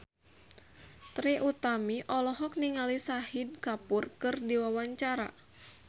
Trie Utami olohok ningali Shahid Kapoor keur diwawancara